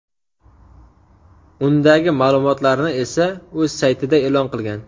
Undagi ma’lumotlarni esa o‘z saytida e’lon qilgan.